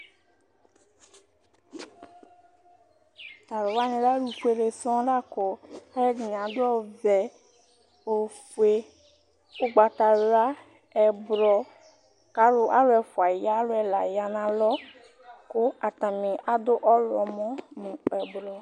Talʋ wani lɛ alʋfuele sɔŋ lakʋ alʋɛdini adʋ ɔvɛ, ofue, ʋgbatawla, ɛblɔ, kʋ alʋ ɛla ya nʋ alɔ kʋ atani adʋ ɔwlɔmɔ nʋ ʋblʋ